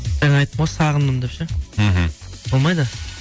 жаңа айттым ғой сағындып деп ше мхм болмайды